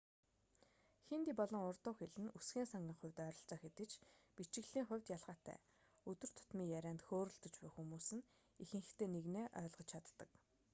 хинди болон урду хэл нь үгсийн сангийн хувьд ойролцоо хэдий ч бичиглэлийн хувьд ялгаатай өдөр тутмын ярианд хөөрөлдөж буй хүмүүс нт ихэнхдээ нэгнээ ойлгож чаддаг